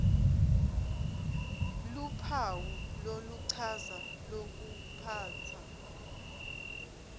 luphawu loluchaza lokuphatsa